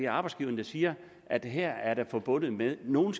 arbejdsgiverne der siger at det her er forbundet med at nogle